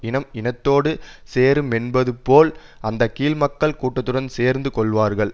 இனம் இனத்தோடு சேருமென்பதுபோல் அந்த கீழ் மக்கள் கூட்டத்துடன் சேர்ந்து கொள்வார்கள்